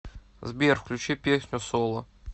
сбер включи песню сола